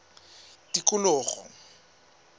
tikologo